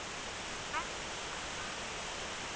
Benvý, hvað er að frétta?